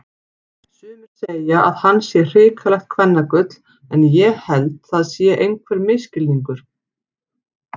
Sumir segja að hann sé hrikalegt kvennagull en ég held það sé einhver misskilningur.